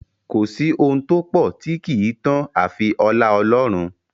Kò sí ohun tó pọ̀ tí kì í tán àfi ọlá Ọlọ́run.